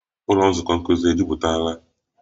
Ụlọ nzukọ nkuzi e jupụtara?